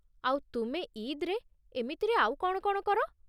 ଆଉ ତୁମେ ଇଦ୍‌ରେ ଏମିତିରେ ଆଉ କ'ଣ କ'ଣ କର?